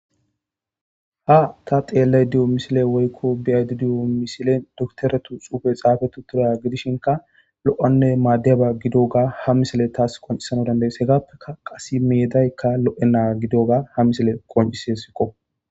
Ha ta xeellay diyo misile woykko biyaydi diyo misilen dukteretu xuufe xaafe tu turaya gidishinka lo7anne maaddiyaba gidoga ha misile taas qoncisano dandayes hegappeka qase meedaykka lo7ena gidoga ha misile qoncisi hesikko.